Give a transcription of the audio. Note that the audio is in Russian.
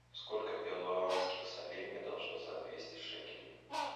сколько перуанских солей мне должны за двести шекелей